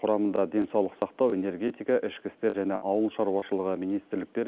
құрамында денсаулық сақтау энергетика ішкі істер және ауыл шаруашылығы министрліктер